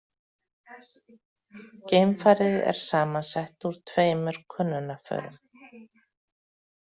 Geimfarið er samansett úr tveimur könnunarförum.